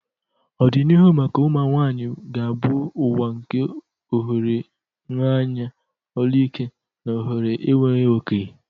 Ọdịnihu maka ụmụ nwanyị ga-abụ ụwa nke ohere nha anya, olu ike, na ohere enweghị oke.